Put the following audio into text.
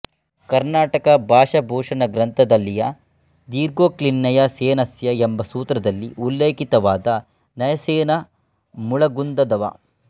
ಕರ್ನಾಟಕ ಭಾಷಾಭೂಷಣ ಗ್ರಂಥದಲ್ಲಿಯ ದೀರ್ಘೋಕ್ತಿರ್ನಯಸೇನಸ್ಯ ಎಂಬ ಸೂತ್ರದಲ್ಲಿ ಉಲ್ಲೇಖಿತವಾದ ನಯಸೇನ ಮುಳಗುಂದದವ